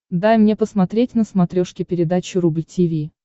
дай мне посмотреть на смотрешке передачу рубль ти ви